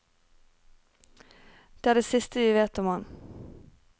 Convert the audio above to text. Det er det siste vi vet om ham.